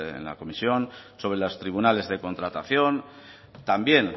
en la comisión sobre los tribunales de contratación también